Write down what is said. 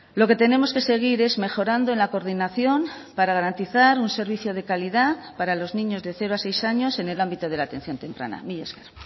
lo que tenemos que seguir es mejorando en la coordinación para garantizar un servicio de calidad para los niños de cero a seis años en el ámbito de la atención temprana mila esker